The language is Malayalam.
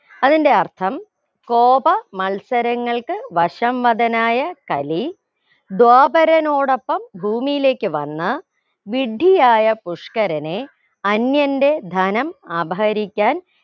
അതിന്റെ അർഥം കോപ മത്സരങ്ങൾക്ക് വശംവദനായ കലി ദ്വാപരനോടൊപ്പം ഭൂമിയിലേക്ക് വന്ന വിഡ്ഢിയായ പുഷ്‍കരനെ അന്യന്റെ ധനം അപഹരിക്കാൻ